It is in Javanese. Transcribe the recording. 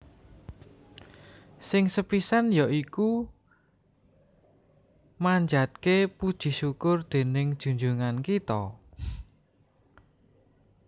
Sing sepisan yaiku manjatke puji syukur dening junjungan kito